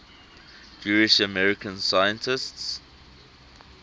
jewish american scientists